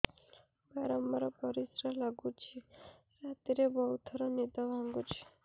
ବାରମ୍ବାର ପରିଶ୍ରା ଲାଗୁଚି ରାତିରେ ବହୁତ ଥର ନିଦ ଭାଙ୍ଗୁଛି